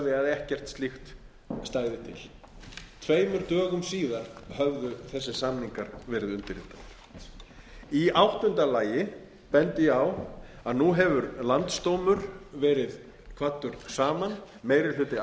ekkert slíkt stæði til tveimur dögum síðar höfðu þessir samningar verið undirritaðir í áttunda lagi bendi ég á að nú hefur landsdómur verið kvaddur saman meiri hluti